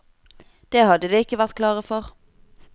Det hadde de ikke vært klare for.